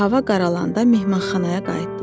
Hava qaralanda mehmanxanaya qayıtdılar.